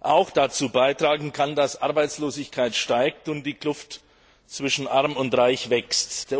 auch dazu beitragen kann, dass die Arbeitslosigkeit steigt und die Kluft zwischen Arm und Reich wächst.